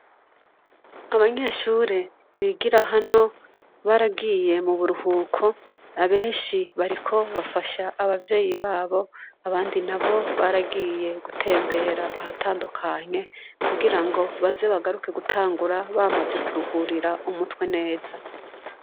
Abanyeshure bigira hano baragiye mu buruhuko, abenshi bariko bafasha abavyeyi babo, abandi nabo baragiye gutembera ahatandukanye kugirango baze bagruke bamaze kuruhurira umutwe neza.